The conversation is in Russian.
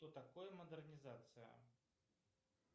что такое модернизация